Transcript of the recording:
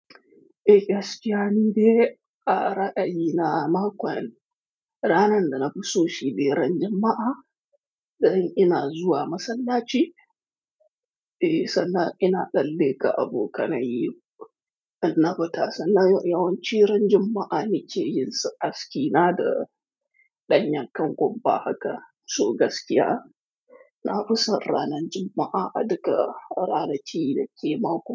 Eh, gaskiya ni dai ƙaraɗayi na makon. Ranar da na fi so shi be ran Juma'a, da yin ina zuwa masallaci. Eh, sannan ina tsalle ka abokanan yi, amma bata sannan yawan ci ran Juma'a ne ce yin sa aski na da ɗanyanken gomba haka. So gaskiya, na fi son ranar Juma'a. A duka ƙararaci da ke makon.